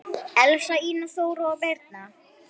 Elsa, Ína, Þóra og Birna.